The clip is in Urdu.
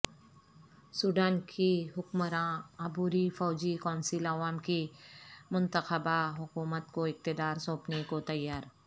سوڈان کی حکمراں عبوری فوجی کونسل عوام کی منتخبہ حکومت کو اقتدار سونپنے کو تیار